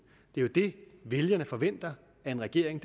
det er jo det vælgerne forventer af en regering